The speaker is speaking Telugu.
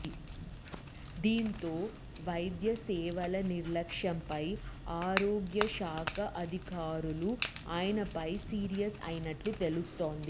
దీంతో వైద్య సేవల నిర్లక్ష్యంపై ఆరోగ్యశాఖ అధికారులు ఆయనపై సీరియస్ అయినట్లు తెలుస్తోంది